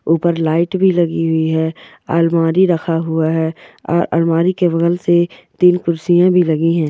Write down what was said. ऊपर लाइट भी लगी हुई है अलमारी रखा हुआ है आ अलमारी के बगल से तीन कुर्सियाँ भी लगी है।